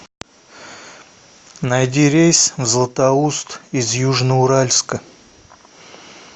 найди рейс в златоуст из южноуральска